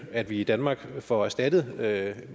at vi i danmark får erstattet meget af